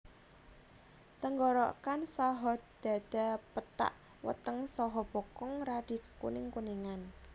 Tenggorokan saha dhadha pethak weteng saha bokong radi kekuning kuningan